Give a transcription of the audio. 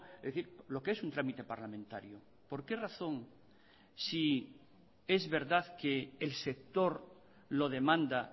es decir lo que es un trámite parlamentario por qué razón si es verdad que el sector lo demanda